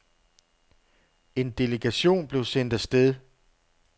En delegation blev sendt af sted.